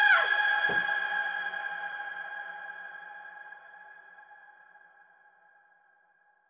þetta